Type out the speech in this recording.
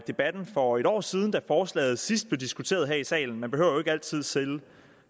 debatten for et år siden da forslaget sidst blev diskuteret her i salen man behøver jo ikke altid selv